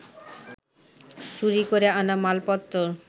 চুরি করে আনা মালপত্তর